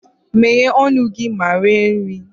Meghee ọnụ gị ma rie nri!